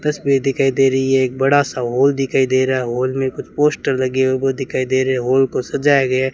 तस्वीर दिखाई दे रही है एक बड़ा सा हॉल दिखाई दे रहा है हाल में कुछ पोस्टर लगे है वो दिखाई दे रहे हॉल को सजाया गया --